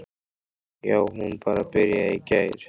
Já, hún bara byrjaði í gær.